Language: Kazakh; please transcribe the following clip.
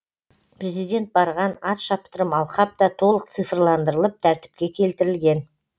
президент барған ат шаптырым алқап та толық цифрландырылып тәртіпке келтірілген